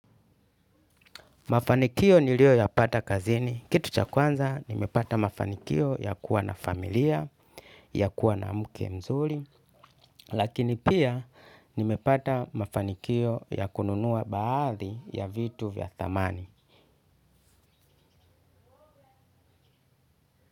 Mafanikio niliyoyapata kazini. Kitu cha kwanza, nimepata mafanikio ya kuwa na familia, ya kuwa na mke mzuri, lakini pia nimepata mafanikio ya kununua baadhi ya vitu vya thamani.